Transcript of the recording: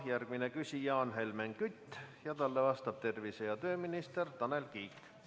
Järgmine küsija on Helmen Kütt ja talle vastab tervise‑ ja tööminister Tanel Kiik.